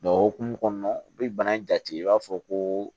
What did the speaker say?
o hokumu kɔnɔna u bɛ bana jate i b'a fɔ ko